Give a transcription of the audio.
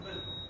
Yoxdur.